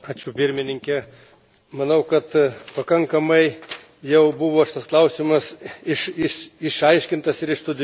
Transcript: Manau, kad pakankamai jau buvo šitas klausimas išaiškintas ir išstudijuotas iš visų pusių.